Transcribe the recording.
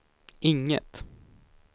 inget